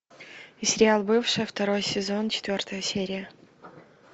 сериал бывшая второй сезон четвертая серия